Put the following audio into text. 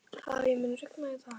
Hafey, mun rigna í dag?